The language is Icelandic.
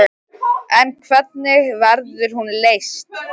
En hvernig verður hún leyst?